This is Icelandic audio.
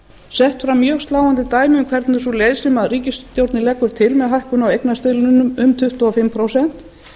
sett fram mjög sláandi dæmi um hvernig sú leið sem ríkisstjórnin leggur til með hækkun á eignarstuðlinum um tuttugu og fimm prósent